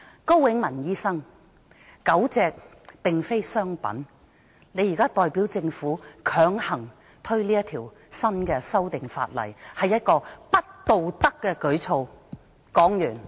高永文醫生，狗隻並非商品，你現在代表政府強行落實這項修訂規例，是不道德的舉措。